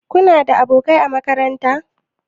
Kuna da abokai a makaranta?